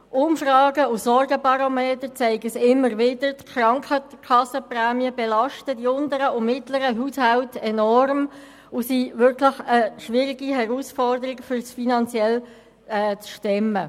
Umfragen und Sorgenbarometer zeigen immer wieder, dass Krankenkassenprämien die unteren und mittleren Haushalte enorm belasten und es wirklich eine schwierige Herausforderung ist, dies finanziell zu stemmen.